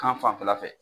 Kan fanfɛla fɛ